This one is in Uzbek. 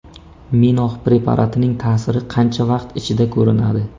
Minox preparatining ta’siri qancha vaqt ichida ko‘rinadi?